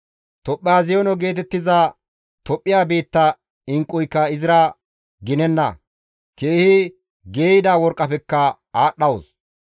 Tophaaziyoone geetettiza Tophphiya biitta inqquyka izira ginenna; keehi geeyida worqqafekka aadhdhawus.